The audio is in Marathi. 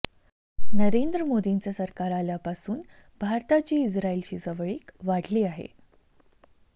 नरेंद्र मोदींचं सरकार आल्यापासून भारताची इस्राईलशी जवळीक वाढली आहे